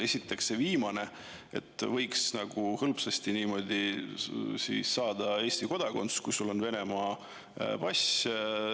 Esiteks, see viimane, nagu oleks hõlpsasti võimalik saada Eesti kodakondsus, kui sul on Venemaa pass.